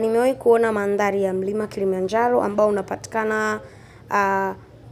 Nimewai kuona mandari ya mlima Kilimanjaro ambao unapatikana